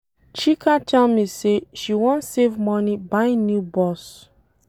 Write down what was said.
Chika tell me say she wan save money buy new bus.